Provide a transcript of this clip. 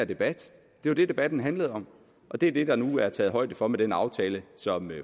debat det var det debatten handlede om og det er det der nu er taget højde for med den aftale som